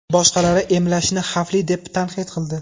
Boshqalari emlashni xavfli deb tanqid qildi.